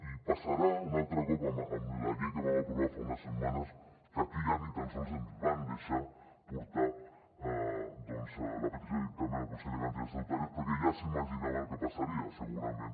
i passarà un altre cop amb la llei que vam aprovar fa unes setmanes que aquí ja ni tan sols ens van deixar portar doncs la petició de dictamen al consell de garanties estatutàries perquè ja s’imaginaven el que passaria segurament